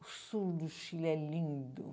O sul do Chile é lindo.